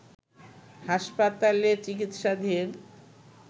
হাসপাতালে চিকিৎসাধীন